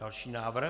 Další návrh.